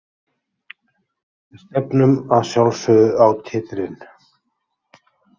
Við stefnum að sjálfsögðu á titilinn.